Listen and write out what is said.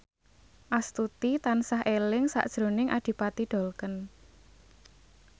Astuti tansah eling sakjroning Adipati Dolken